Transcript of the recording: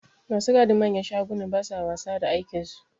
Ma su gadin manyan shagunan ba sa wasa da aikinsu.